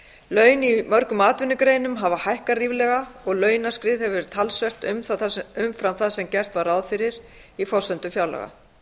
laun í mörgum atvinnugreinum hafa hækkað ríflega og launaskrið hefur verið talsvert umfram það sem gert var ráð fyrir í forsendum fjárlaga